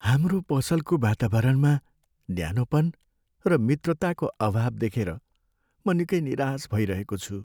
हाम्रो पसलको वातावरणमा न्यानोपन र मित्रताको अभाव देखेर म निकै निराश भइरहेको छु।